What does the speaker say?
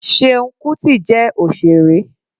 Seun kuti jẹ́ òṣèré.